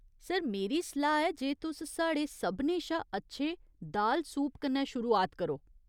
Sir, मेरी सलाह् ऐ जे तुस साढ़े सभनें शा अच्छे दाल सूप कन्नै शुरुआत करो।